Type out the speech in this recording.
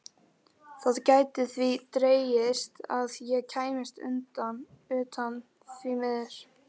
Það gæti því dregist að ég kæmist utan, því miður.